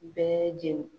Bɛɛ jeni